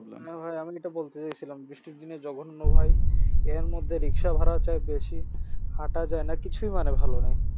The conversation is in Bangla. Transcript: না ভাই আমি এটা বলতে চাইছিলাম বৃষ্টির দিনে জঘন্য ভাই এর মধ্যে রিক্সা ভাড়া চাই বেশি হাঁটা যায় না কিছুই মানে ভালো নাই